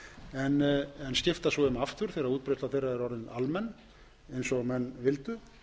en skipta svo um aftur þegar útbreiðsla þeirra er orðin almenn eins og menn vildu